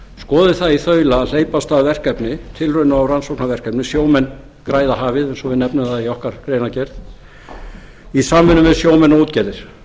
skoði það í þaula að hleypa af stað tilrauna og rannsóknarverkefni sjómenn græða hafið eins og við nefnum það í okkar greinargerð í samvinnu við sjómenn og útgerðir